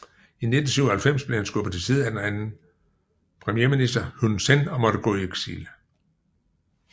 I 1997 blev han skubbet til side af den anden premierminister Hun Sen og måtte gå i eksil